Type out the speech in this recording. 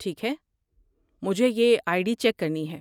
ٹھیک ہے، مجھے یہ آئی ڈی چیک کرنی ہے۔